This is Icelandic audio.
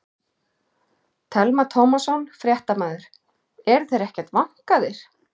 Telma Tómasson, fréttamaður: Eru þeir ekkert vankaðir?